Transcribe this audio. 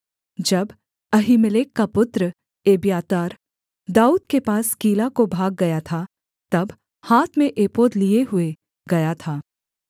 जब अहीमेलेक का पुत्र एब्यातार दाऊद के पास कीला को भाग गया था तब हाथ में एपोद लिए हुए गया था